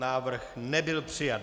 Návrh nebyl přijat.